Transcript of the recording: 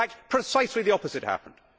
In fact, precisely the opposite happened.